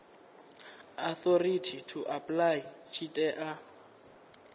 authority to apply tshi tea